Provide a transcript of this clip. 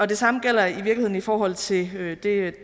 det samme gælder i virkeligheden i forhold til det